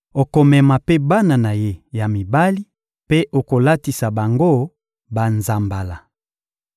Okomema mpe bana na ye ya mibali mpe okolatisa bango banzambala.